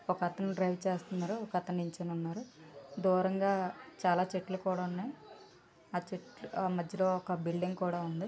ఒకతను డ్రైవర్ చేస్తూ ఉన్నాడు ఒకతను నిల్చుని ఉన్నాడు దూరంగా చాలా చెట్లు కూడా ఉన్నాయి ఆ చెట్లు మధ్యలో ఒక బిల్డింగ్ కూడా ఉంది.